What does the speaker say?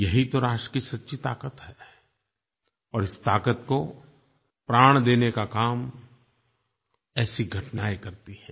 यही तो राष्ट्र की सच्ची ताक़त है और इस ताक़त को प्राण देने का काम ऐसी घटनायें करती हैं